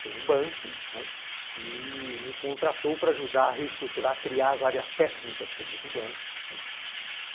por um banco, né, que me contratou para ajudar a reestruturar, criar as áreas técnicas todas do banco, né.